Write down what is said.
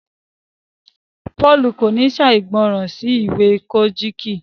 Paul kò ní ṣàìgbọràn sí ìwé Kojiki